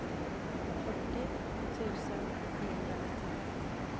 fyrtio tusen sjuhundranittiofem